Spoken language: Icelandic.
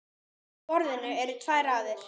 Á borðinu eru tvær raðir.